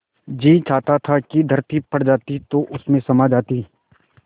जी चाहता था कि धरती फट जाती तो उसमें समा जाती